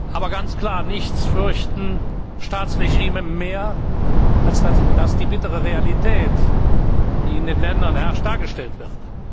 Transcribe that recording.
Aber ganz klar, nichts fürchten Staatsregime mehr, als dass die bittere Realität, die in den Ländern herrscht, dargestellt wird.